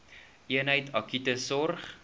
eenheid akute sorg